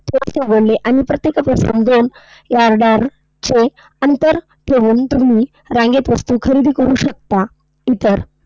जीवनावश्यक वस्तूंसाठी थोडेसे उघडले, आणि प्रत्येकापासून दोन या yard वर अंतर ठेवून तुम्ही रांगेत वस्तू खरेदी करू शकता इतर.